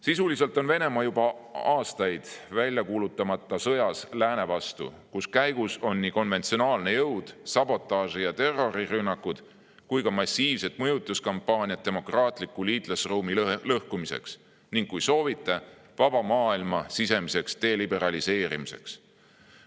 Sisuliselt on Venemaa juba aastaid väljakuulutamata sõjas lääne vastu, kus käigus on nii konventsionaalne jõud, sabotaaži- ja terrorirünnakud kui ka massiivsed mõjutuskampaaniad demokraatliku liitlasruumi lõhkumiseks ning, kui soovite, vaba maailma sisemiseks deliberaliseerimiseks.